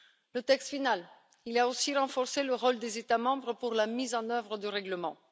Le texte final a aussi renforcé le rôle des États membres pour la mise en œuvre du règlement.